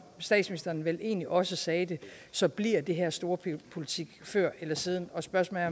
statsministeren vel egentlig også sagde det så bliver det her storpolitik før eller siden og spørgsmålet